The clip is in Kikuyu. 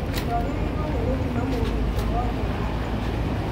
Twagĩrĩirwo nĩ gũthima mũmemba wothe wa timũ